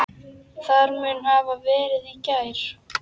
Það mun hafa verið í gær.